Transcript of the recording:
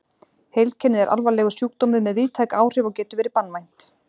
Heilkennið er alvarlegur sjúkdómur með víðtæk áhrif og getur verið banvænt.